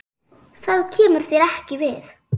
Það kemur þér ekki við.